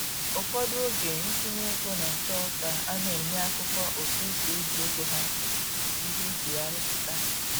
Ụfọdụ oge ntụnye ego na-achọ ka a na-enye akụkọ otu esi eji ego ha, iji gosi ihe eji ya rụpụta